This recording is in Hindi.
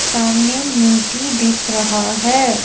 सामने मीटी डिख रहा है।